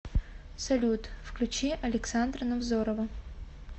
салют включи александра невзорова